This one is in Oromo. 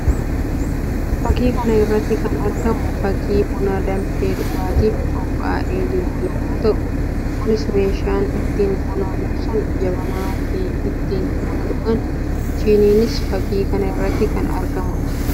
Fakkii kana irratti kan argamu fakkii buna danfee dhugaatiif qophaa'ee jiru yammuu ta'u; kunis meeshaan ittiin buna buusaan jabanaa fi ittiin buna dhugan shiniinis fakkii kana irratti akka argamu dha.